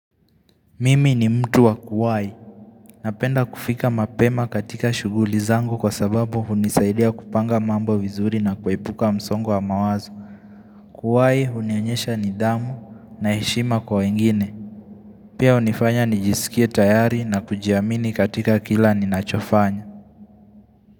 Mimi ni mtu wa kuwai Napenda kufika mapema katika shughuli zangu kwa sababu hunisaidia kupanga mambo vizuri na kuepuka msongo wa mawazo Kuwai hunionyesha nidhamu na heshima kwa wengine Pia hunifanya nijisikie tayari na kujiamini katika kila ni nachofanya.